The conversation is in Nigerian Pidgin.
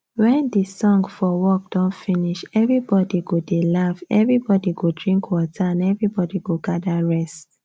wen the song for work don finish everybody go dey laugh everybody go drink water and everybody go gather rest